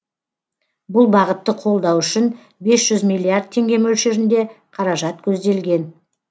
бұл бағытты қолдау үшін бес жүз миллиард теңге мөлшерінде қаражат көзделген